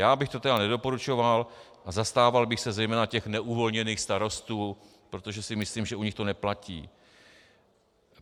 Já bych to tedy nedoporučoval a zastával bych se zejména těch neuvolněných starostů, protože si myslím, že u nich to neplatí.